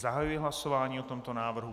Zahajuji hlasování o tomto návrhu.